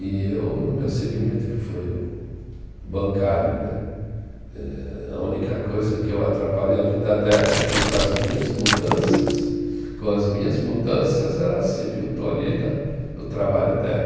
E eu, no meu segmento, que foi o o bancário né, eh a única coisa que eu atrapalhei a vida dela é que, com as minhas mudanças, com as minhas mudanças ela se viu tolhida no trabalho dela.